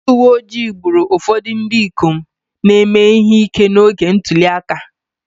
Ndị uwe ojii gburu ụfọdụ ndị ikom na-eme ihe ike n'oge ntuli aka